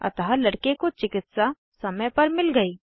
अतः लड़के को चिकित्सा समय पर मिल गयी